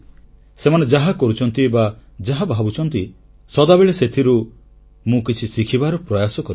ସେମାନେ ଯାହା କରୁଛନ୍ତି ବା ଯାହା ଭାବୁଛନ୍ତି ସଦାବେଳେ ସେଥିରୁ ମୁଁ କିଛି ଶିଖିବାର ପ୍ରୟାସ କରିଛି